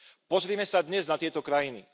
Pozrime sa dnes na tieto krajiny.